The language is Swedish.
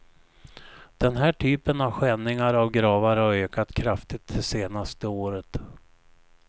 Den här typen av skändningar av gravar har ökat kraftigt det senaste året.